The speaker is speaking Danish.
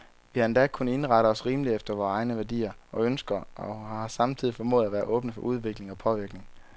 Vi har endda kunnet indrette os rimeligt efter vore egne værdier og ønsker, og har samtidig formået at være åbne for udvikling og påvirkning.